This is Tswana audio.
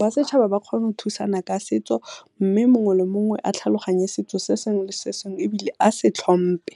ba setšhaba ba kgona go thusana ka setso mme mongwe le mongwe a tlhaloganye setso se sengwe le sengwe ebile a se tlhompe.